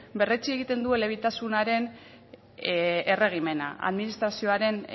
berretsi egiten du elebitasunaren erregimena administrazioaren